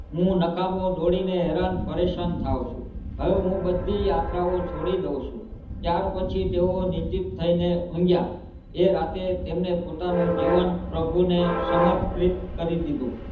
હું નકામો દોડીને હેરાન પરેશાન થાવ છું હવે હું બધી યાત્રાઓ છોડી દવ છું ત્યારપછી તેઓ નિશ્ચિત થઈને ઊંઘયા એ રાતે તેમને પોતાનું જીવન પ્રભુને સમર્પિત કરી દીધું.